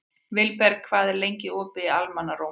Vilberg, hvað er lengi opið í Almannaróm?